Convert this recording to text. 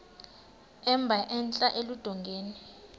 emba entla eludongeni